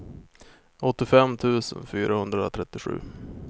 åttiofem tusen fyrahundratrettiosju